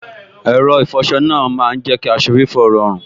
Ẹ̀rọ ìfọsọ náà má n jẹ́ kí aṣọ fífọ́ rọrùn